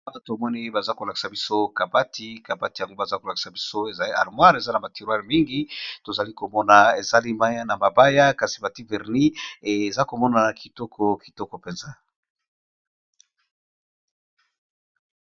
Awa tomoni baza kolakisa biso kabati, kabati yango baza kolakisa biso ezali armoire eza na ba terroir mingi, tozali komona ezalemi na mabaya kasi batie verni eza komona na kitoko kitoko mpenza.